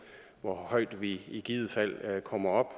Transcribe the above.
hvor højt vi i givet fald kommer op